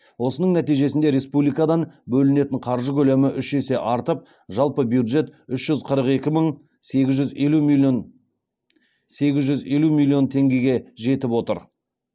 осының нәтижесінде республикадан бөлінетін қаржы көлемі үш есе артып жалпы бюджет үш жүз қырық екі мың сегіз жүз елу миллион теңгеге жетіп отыр